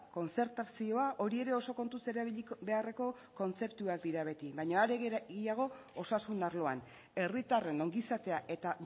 kontzertazioa hori ere oso kontuz erabili beharreko kontzeptuak dira beti baino are gehiago osasun arloan herritarren ongizatea eta